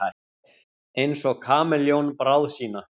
Einsog kameljón bráð sína.